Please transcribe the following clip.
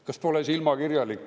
Kas pole silmakirjalik?